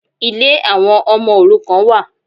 Ilé àwọn ọmọ òrukàn wà.